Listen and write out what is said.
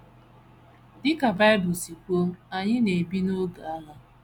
Dị ka Bible si kwuo, anyị na - ebi n’oge agha.